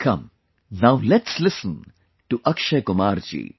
Come, now let's listen to Akshay Kumar ji